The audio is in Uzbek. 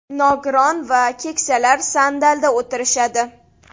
Nogiron va keksalar sandalda o‘tirishadi.